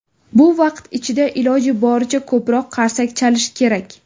Bu vaqt ichida iloji boricha ko‘proq qarsak chalish kerak.